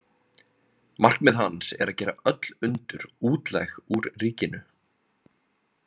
Markmið hans er að gera öll undur útlæg úr ríkinu.